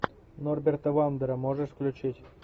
норберта вандера можешь включить